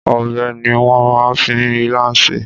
Ọbẹ̀ ni wọ́n máa ń fi ilá sè.